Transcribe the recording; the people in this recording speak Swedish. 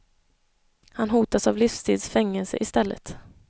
Han hotas av livstids fängelse i stället.